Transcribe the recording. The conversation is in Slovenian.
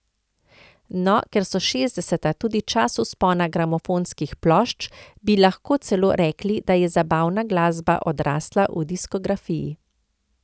No, ker so šestdeseta tudi čas vzpona gramofonskih plošč, bi lahko celo rekli, da je zabavna glasba odrasla v diskografiji.